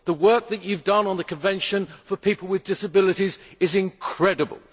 The work that you have done on the Convention for people with disabilities is incredible.